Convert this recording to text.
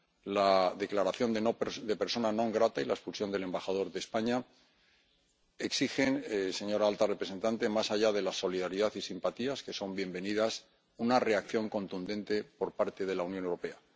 La declaración de persona non grata y la expulsión del embajador de España exigen, señora alta representante, más allá de la solidaridad y simpatías —que son bienvenidas―, una reacción contundente por parte de la Unión Europea.